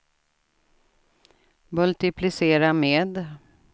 multiplicera med